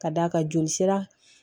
Ka d'a kan jolisira